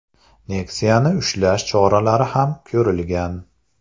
Nexia’ni ushlash choralari ham ko‘rilgan.